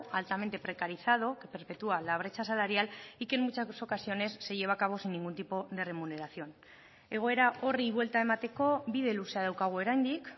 altamente precarizado que perpetúa la brecha salarial y que en muchas ocasiones se lleva a cabo sin ningún tipo de remuneración egoera horri buelta emateko bide luzea daukagu oraindik